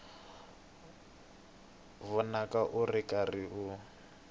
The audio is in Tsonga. vonaka u ri karhi u